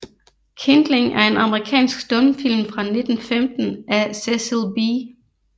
Kindling er en amerikansk stumfilm fra 1915 af Cecil B